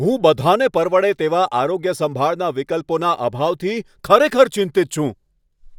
હું બધાંને પરવડે તેવા આરોગ્યસંભાળના વિકલ્પોના અભાવથી ખરેખર ચિંતિત છું.